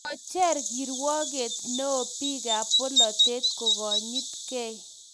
kocher kirwoket neoo biikab bolatet kokonyitgei